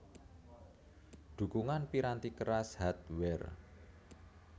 Dhukungan piranti keras Hardware